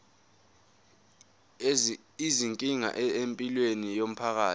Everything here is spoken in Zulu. izinkinga empilweni yomphakathi